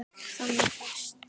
Þannig fæst